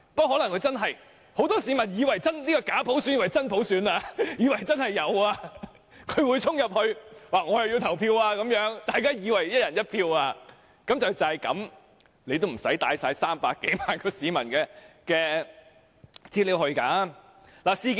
可能很多市民以為這個假普選是真普選，會衝入去投票，以為"一人一票"，即使如此，也不用攜帶300多萬市民的資料去會場。